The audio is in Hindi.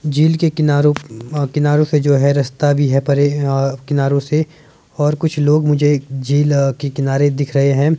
झील के किनारो किनारो से जो है रास्ता भी है परे किनारो से और कुछ लोग मुझे झील के किनारे दिख रहे हैं।